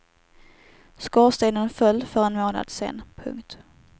Skorstenen föll för en månad sen. punkt